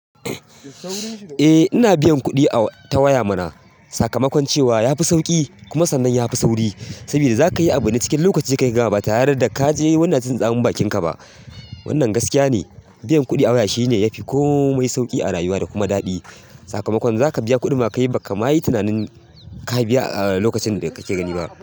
Eh ina biyan kuɗi a ta waya mana sakamakon cewa yafi sauƙi kuma sannan yafi sauri saboda zaka yi abu ne cikin lokaci kayi gama ba tare da ka je wani yana jin tsamin bankin ka ba. Wannan gaskiya ne, biyan kuɗi a waya shine yafi komai sauƙi a rayuwa da kuma daɗi sakamakon zaka biya kuɗin ma kai ba kamayi tunanin ka biya a lokacin da kake gani ba.